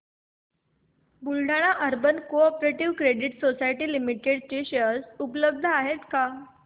Buldhana urban cooperative credit society limited चे share उपलब्ध आहेत का